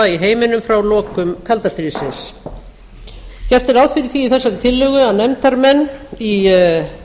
í heiminum frá lokum kalda stríðsins gert er ráð fyrir því í þessari tillögu að nefndarmenn í